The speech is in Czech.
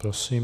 Prosím.